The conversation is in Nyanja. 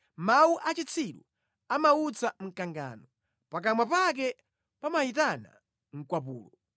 Mawu a chitsiru amautsa mkangano; pakamwa pake pamayitana mkwapulo.